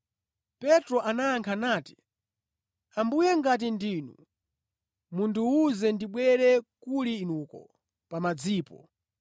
Petro anayankha nati, “Ambuye ngati ndinu, mundiwuze ndibwere kuli inuko pa madzipo.”